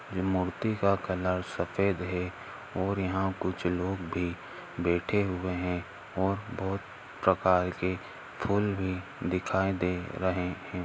ये मूर्ति का कलर सफेद हे और यहाँ कुछ लोग भी बैठे हुए है और बहोत प्रकार के फुल भी दिखाई दे रहे हैं।